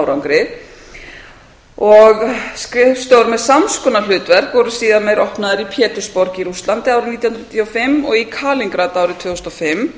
árangri skrifstofur með sams konar hlutverk voru síðar meir opnaðar í pétursborg í rússlandi árið nítján hundruð níutíu og fimm og í kalingrad árið tvö þúsund og fimm